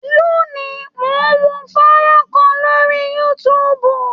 Lónìí, mò ń wo fọ́nrán kan lórí YouTube.